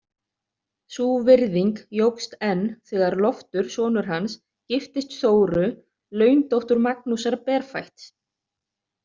Sú virðing jókst enn þegar Loftur sonur hans giftist Þóru, laundóttur Magnúsar berfætts.